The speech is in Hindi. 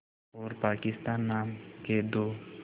और पाकिस्तान नाम के दो